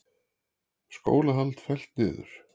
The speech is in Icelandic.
Skólahald fellt niður